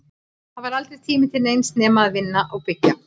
Það var aldrei tími til neins nema að vinna og byggja.